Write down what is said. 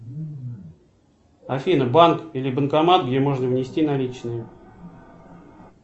афина банк или банкомат где можно внести наличные